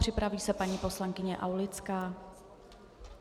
Připraví se paní poslankyně Aulická.